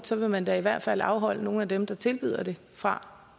så vil man da i hvert fald afholde nogle af dem der tilbyder det fra